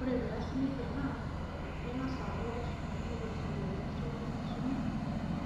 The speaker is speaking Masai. Ore peasi nejia naa kagaz aaku keshipakinoi osirua lenkisuma